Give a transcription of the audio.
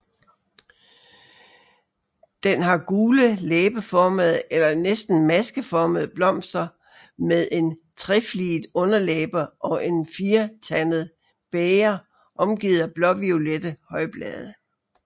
Den har gule læbeformede eller næsten maskeformede blomster med en trefliget underlæbe og et firetandet bæger omgivet af blåviolette højblade